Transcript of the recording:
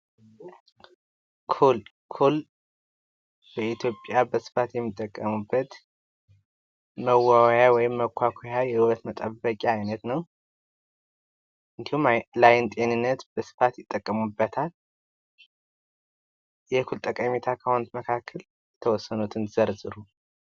ኩል ኩል በኢትዮጵያ በስፋት የሚጠቀሙበት መዋቢያ ወይም መኳኳያ የዉበት መጠበቂያ አይነት ነው፤ እንዲሁም ለአይን ጤንነት በስፋት ይጠቀሙበታል። የኩል ጠቀሜታ ከሆኑት መካከል የተወሰኑትን ዘርዝሩ።